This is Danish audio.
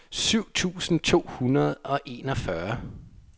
syv tusind to hundrede og enogfyrre